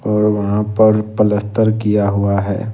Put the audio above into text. और वहां पर प्लसतर किया हुआ है।